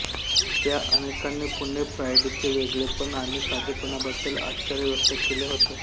त्या अनेकांनी पुणे प्राईडचे वेगळेपण आणि साधेपणाबद्दल आश्चर्य व्यक्त केले होते